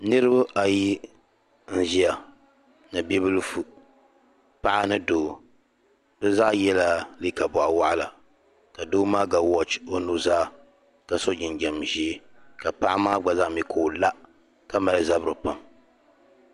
niriba ayi n-ʒia ni bibilifu paɣa ni doo bɛ zaa yɛla liiga bɔɣiwaɣila ka doo maa ga wɔchi o nuzaa ka so jinjam ʒee ka paɣa maa gba zaa mi ka o la ka mali zabiri kpaam